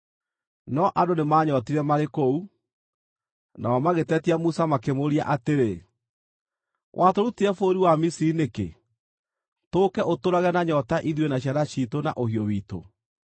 No andũ nĩmanyootire marĩ kũu, nao magĩtetia Musa makĩmũũria atĩrĩ, “Watũrutire bũrũri wa Misiri nĩkĩ, tũũke ũtũũrage na nyoota ithuĩ na ciana ciitũ na ũhiũ witũ?”